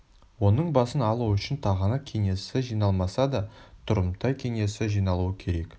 оның басын алу үшін тағанақ кеңесі жиналмаса да тұрымтай кеңесі жиналуы керек